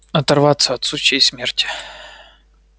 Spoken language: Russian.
оторваться от сучьей смерти